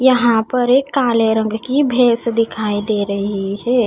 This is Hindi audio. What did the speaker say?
यहां पर एक काले रंग की भेस दिखाई दे रही है।